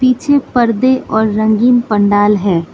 पीछे पर्दे और रंगीन पंडाल है।